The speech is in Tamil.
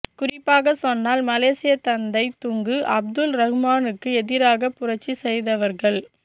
குறிப்பாக சொன்னால் மலேசியத் தந்தை துங்கு அப்துல் ரஹ்மானுக்கு எதிராக புரட்சி செய்தவர்கள்